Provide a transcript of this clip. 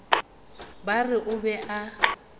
ba re o be a